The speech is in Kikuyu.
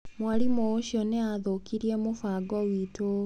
Mwarimũ ũcio nĩ aathũkirie mũbango witũ.